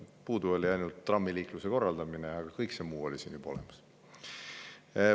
Puudu oli ainult trammiliikluse korraldamine, aga kõik muu oli siin juba olemas.